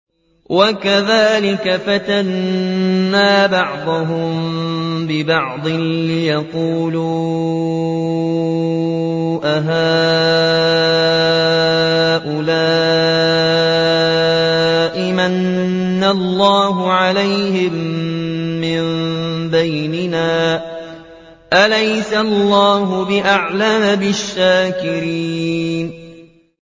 وَكَذَٰلِكَ فَتَنَّا بَعْضَهُم بِبَعْضٍ لِّيَقُولُوا أَهَٰؤُلَاءِ مَنَّ اللَّهُ عَلَيْهِم مِّن بَيْنِنَا ۗ أَلَيْسَ اللَّهُ بِأَعْلَمَ بِالشَّاكِرِينَ